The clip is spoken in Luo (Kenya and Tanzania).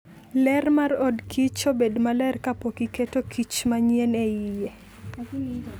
Ler mar odkich obed maler kapok iketo kich manyien e iye.